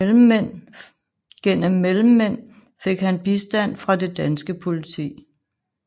Gennem mellemmænd fik han bistand fra det danske politi